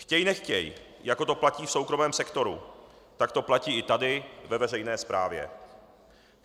Chtěj nechtěj, jako to platí v soukromém sektoru, tak to platí i tady ve veřejné správě.